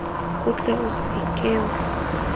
o tle o se ka